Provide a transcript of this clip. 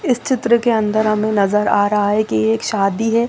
इस चित्र के अन्दर हमें नज़र आ रहा है कि एक शादी है।